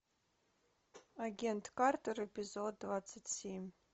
агент картер эпизод двадцать семь